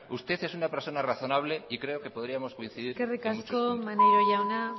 usted es una persona razonable y creo que podríamos coincidir en muchos puntos eskerrik asko maneiro jauna